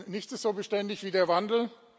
Nichts ist so beständig wie der Wandel.